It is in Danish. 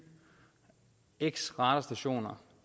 x radarstationer